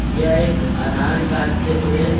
यह एक आधार कार्ड से जुड़े--